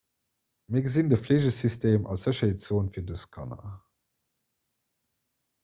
mir gesinn de fleegesystem als sécherheetszon fir dës kanner